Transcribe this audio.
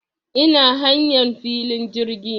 Ina hanyan filin jirgi